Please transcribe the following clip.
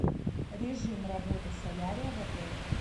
режим работы солярия в отеле